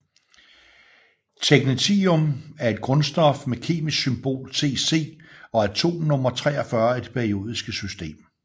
Technetium er et grundstof med kemisk symbol Tc og atomnummer 43 i det periodiske system